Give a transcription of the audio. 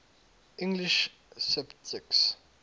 english sceptics